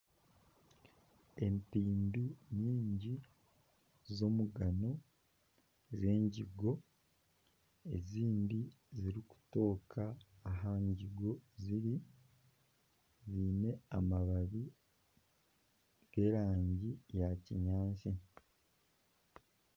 Empimbi nyingi z'omugano z'engigo ezindi zirikutooka aha ngigo ziri ziine amababi g'erangi ya kinyaatsi.